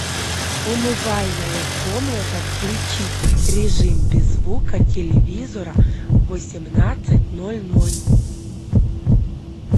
умывальная комната включить режим без звука телевизора в восемнадцать ноль ноль